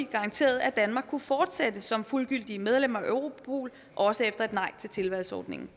garanterede at danmark kan fortsætte som fuldgyldigt medlem af europol også efter et nej til tilvalgsordningen